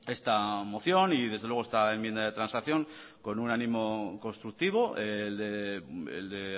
esta moción y desde luego esta enmienda de transacción con un ánimo constructivo el de